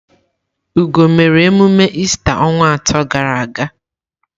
Ugo mere emume ista onwa asatọ gara aga.